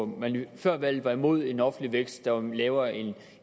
hvor man før valget var imod en offentlig vækst der var lavere end